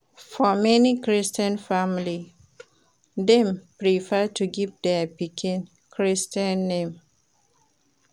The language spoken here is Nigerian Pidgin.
For many Christian family, dem prefer to give their pikin Christian name